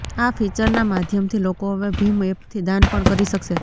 આ ફીચરના માધ્યમથી લોકો હવે ભીમ એપથી દાન પણ કરી શકશે